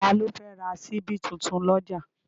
Ta ló fẹ́ ra ṣíbí tuntun lọ́jà?